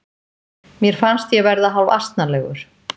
Mér fannst ég verða hálfasnalegur.